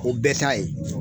O bɛɛ ta ye.